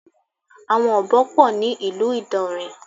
Àwọn Ọ̀bọ pọ̀ ní ìlú Ìdàǹrè.